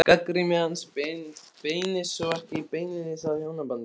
Gagnrýni hans beinist þó ekki beinlínis að hjónabandinu.